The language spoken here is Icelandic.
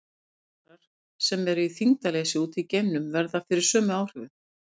Geimfarar sem eru í þyngdarleysi úti í geimnum verða fyrir sömu áhrifum.